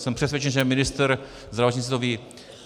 Jsem přesvědčen, že ministr zdravotnictví to ví.